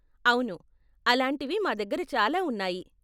అవును, అలాంటివి మా దగ్గర చాలా ఉన్నాయి.